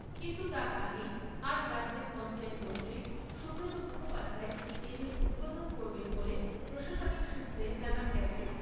কিন্তু তার আগেই আজ রাজ্যের পঞ্চায়েত মন্ত্রী সুব্রত মুখোপাধ্যায় এটির উদ্বোধন করবেন বলে প্রশাসনিক সূত্রে জানান হয়েছে।